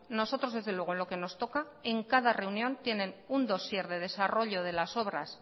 nosotros desde luego en lo que nos toca en cada reunión tienen un dossier de desarrollo